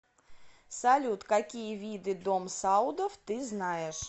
салют какие виды дом саудов ты знаешь